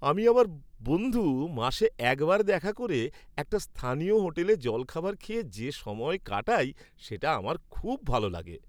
আমি আর আমার বন্ধু মাসে একবার দেখা করে একটা স্থানীয় হোটেলে জলখাবার খেয়ে যে সময় কাটাই সেটা আমার খুব ভালো লাগে।